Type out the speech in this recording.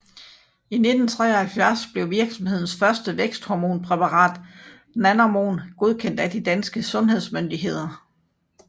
I 1973 blev virksomhedens første væksthormonpræparat Nanormon godkendt af de danske sundhedsmyndigheder